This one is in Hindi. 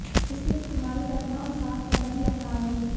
इसके इस्तेमाल करना और साफ करना भी आसान है